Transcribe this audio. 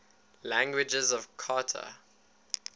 languages of qatar